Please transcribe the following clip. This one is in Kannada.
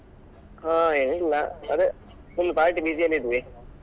ಹಾ ಏನಿಲ್ಲಾ ಅದೇ full party busy ಯಲ್ಲಿ ಇದ್ವಿ.